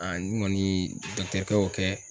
n ŋɔni kɛ y'o kɛ